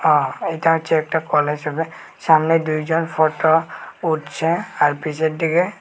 আ এটা হচ্ছে একটা কলেজ হবে সামনে দুজন ফটো উঠছে আর পিছন দিকে--